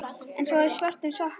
Hún er í svörtum sokkum.